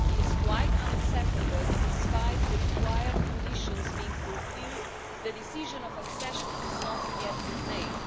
It is quite unacceptable that, despite the required conditions being fulfilled, the decision on accession has not yet been made.